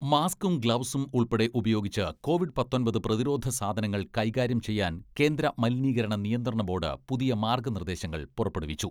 മാസ്ക്കും, ഗ്ലൗസും ഉൾപ്പെടെ ഉപയോഗിച്ച് കോവിഡ് പത്തൊമ്പത് പ്രതിരോധ സാധനങ്ങൾ കൈകാര്യം ചെയ്യാൻ കേന്ദ്ര മലിനീകരണ നിയന്ത്രണ ബോഡ് പുതിയ മാർഗ്ഗ നിർദ്ദേശങ്ങൾ പുറപ്പെടുവിച്ചു.